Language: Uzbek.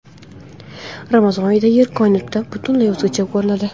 Ramazon oyida Yer koinotdan butunlay o‘zgacha ko‘rinadi .